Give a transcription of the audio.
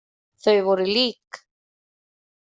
Þau voru lík.